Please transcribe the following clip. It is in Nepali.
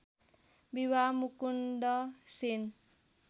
विवाह मुकुन्द सेन